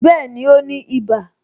Bẹẹni, ó ní ibà